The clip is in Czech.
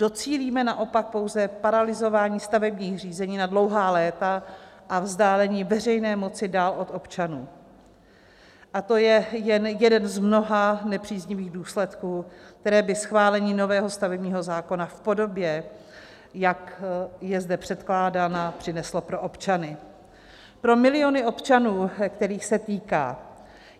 Docílíme naopak pouze paralyzování stavebních řízení na dlouhá léta a vzdálení veřejné moci dál od občanů a to je jen jeden z mnoha nepříznivých důsledků, které by schválení nového stavebního zákona v podobě, jak je zde předkládáno, přineslo pro občany, pro miliony občanů, kterých se týká.